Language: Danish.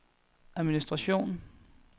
administration